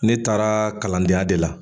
Ne taara kalandenya de la